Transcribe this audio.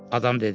Adam dedi.